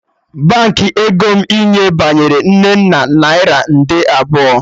Baankị ego m inye binyere Nnenna naira nde abụọ